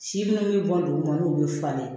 Si minnu bɛ bɔ duguma olu bɛ falen